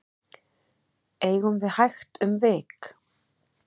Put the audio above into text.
eigum við hægt um vik